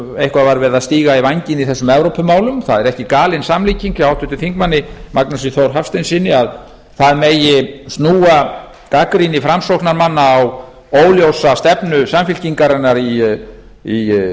eitthvað var verið að stíga í vænginn í þessum evrópumálum það er ekki galin samlíking hjá háttvirtum þingmanni magnúsi þór hafsteinssyni að það megi snúa gagnrýni framsóknarmanna á óljósa stefnu samfylkingarinnar í